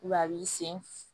a b'i sen